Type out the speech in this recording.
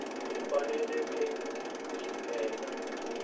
u faneleke ku swi endla